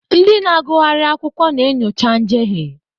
Ndị na-agụgharị akwụkwọ na-enyocha njehie.